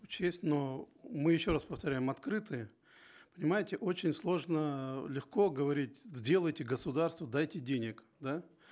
учесть но мы еще раз повторяем открыты понимаете очень сложно легко говорить сделайте государство дайте денег да